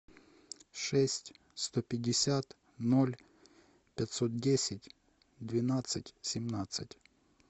шесть сто пятьдесят ноль пятьсот десять двенадцать семнадцать